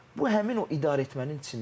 Bu həmin o idarəetmənin içindədir.